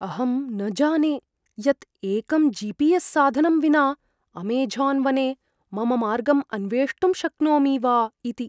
अहं न जाने यत् एकं जि.पि.एस्. साधनं विना अमेझोन् वने मम मार्गम् अन्वेष्टुं शक्नोमि वा इति।